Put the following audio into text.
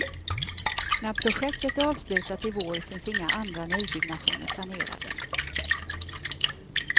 När projektet är avslutat i vår finns inga andra nybyggnationer planerade.